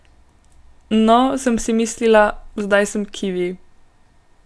No, sem si mislila, zdaj sem kivi.